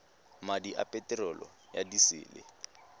madi a peterolo ya disele